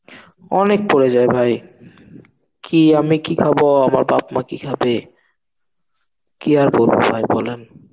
অনেক পড়ে যায় ভাই. কি আমি কি খাবো? আমার বাপ মা কি খাবে? কি আর বলবো ভাই বলেন.